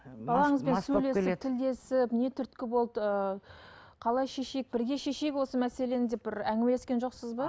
балаңызбен сөйлесіп тілдесіп не түрткі болды ыыы қалай шешейік бірге шешейік осы мәселені деп бір әңгімелескен жоқсыз ба